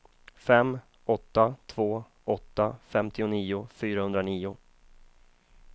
fem åtta två åtta femtionio fyrahundranio